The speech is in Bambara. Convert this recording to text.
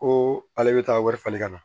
Ko ale bɛ taa wari falen ka na